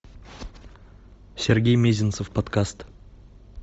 сергей мезенцев подкаст